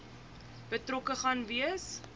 betrokke gaan wees